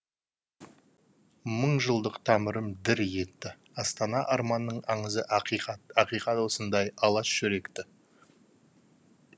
мың жылдық тамырым дір етті астана арманның аңызы ақиқат ақиқат осындай алаш жүректі